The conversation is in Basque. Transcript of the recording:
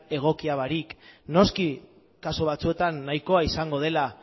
egoki barik noski kasu batzuetan nahikoa izango dela